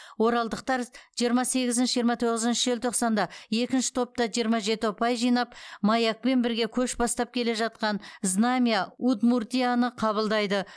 оралдықтар жиырма сегізінші жиырма тоғызыншы желтоқсанда екінші топта жиырма жеті ұпай жинап маякпен бірге көш бастап келе жатқан знамя удмуртияны қабылдайды